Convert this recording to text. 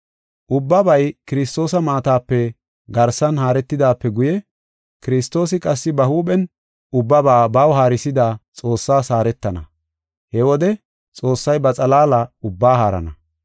Ubbabay Kiristoosa maatape garsan haaretidaape guye Kiristoosi qassi ba huuphen ubbaba baw haarisida Xoossaas haaretana. He wode Xoossay ba xalaala ubbaa haarana.